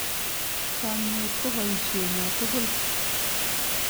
Chomnyet ko boisyenyo tugul.